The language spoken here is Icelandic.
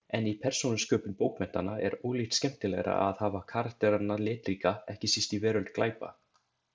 En í persónusköpun bókmenntanna er ólíkt skemmtilegra að hafa karakterana litríka, ekki síst í veröld glæpa.